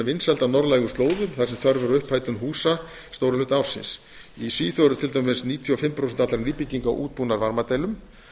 á norðlægum slóðum þar sem þörf er á upphitun húsa stóran hluta ársins í svíþjóð eru til dæmis níutíu og fimm prósent allra nýbygginga útbúnar varmadælum